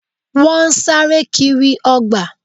Wọ́n sáré kiri ọgbà